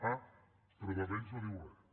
ah però de vents no en diu res